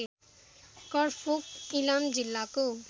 करफोक इलाम जिल्लाको